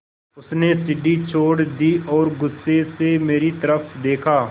उसने सीढ़ी छोड़ दी और गुस्से से मेरी तरफ़ देखा